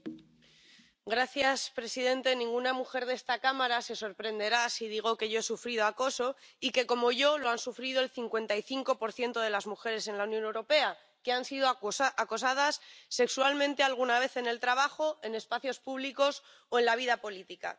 Señor presidente, ninguna mujer de esta Cámara se sorprenderá si digo que yo he sufrido acoso y que, como yo, lo han sufrido el 55 de las mujeres en la Unión Europea, que han sido acosadas sexualmente alguna vez en el trabajo, en espacios públicos o en la vida política.